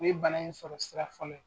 O ye bana in sɔrɔ sira fɔlɔ ye.